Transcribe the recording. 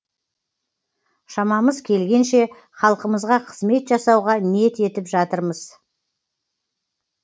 шамамыз келгенше халқымызға қызмет жасауға ниет етіп жатырмыз